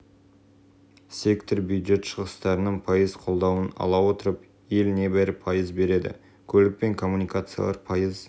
біз индустриаландыруды қолдауға бағытталған ресурстарды жыл сайын ұлғайтып отыруға тиіс екендігімізді атап өткен орынды мәселен аграрлық